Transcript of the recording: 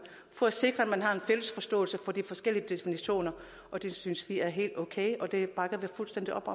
for at sikre at man har en fælles forståelse for de forskellige definitioner og det synes vi er helt okay det bakker vi fuldstændig op